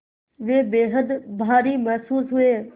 वे बेहद भारी महसूस हुए